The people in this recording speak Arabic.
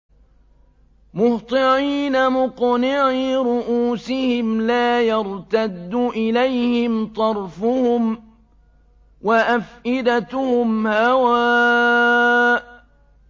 مُهْطِعِينَ مُقْنِعِي رُءُوسِهِمْ لَا يَرْتَدُّ إِلَيْهِمْ طَرْفُهُمْ ۖ وَأَفْئِدَتُهُمْ هَوَاءٌ